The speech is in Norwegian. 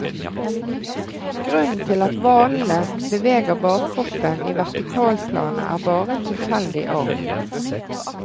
Grunnen til at hvalene beveger bakkroppen i vertikalplanet er bare en tilfeldig arv.